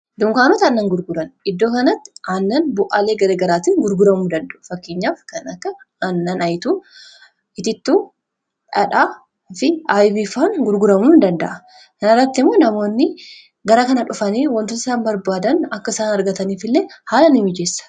dunkaanota aannan gurguran; iddoo kanatti aannan bu'aalee gargaraatiin gurguramuu danda'u fakkeenyaaf kan akka aannan itittuu dhadhaa fi ayibiifaa gurguramuu ni danda'a. kana irratti immoo namoonni gara kana dhufanii wantoota isan barbaadan akka isaan argataniif illee haala nii mijeessa.